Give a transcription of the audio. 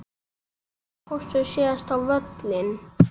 Hvenær fórstu síðast á völlinn?